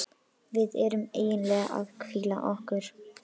Við erum eiginlega að hvíla okkur.